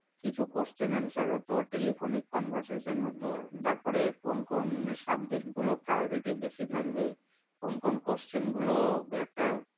কিছু question answer হতো, telephone conversation হতো, তারপরে কোন কোন subject গুলো priority বেশি থাকবে? কোন কোন question গুলো একটা